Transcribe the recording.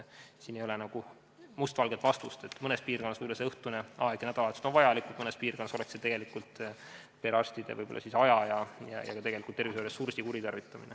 Siin ei ole mingit mustvalget vastust, sest mõnes piirkonnas võib see õhtune aeg nädalas olla vajalik, mõnes piirkonnas aga oleks see perearstide aja ja tegelikult ka tervishoiuressursi kuritarvitamine.